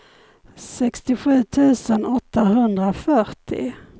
sextiosju tusen åttahundrafyrtio